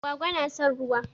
Agwaga na son ruwa.